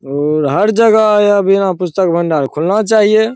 और हर जगह यहां पे पुस्तक भंडार खुलना चाहिए।